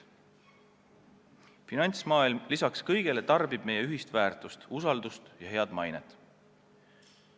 Finantsmaailm lisaks kõigele tarbib meie ühist väärtust – usaldust ja head mainet.